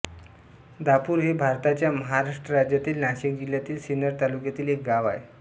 दापुर हे भारताच्या महाराष्ट्र राज्यातील नाशिक जिल्ह्यातील सिन्नर तालुक्यातील एक गाव आहे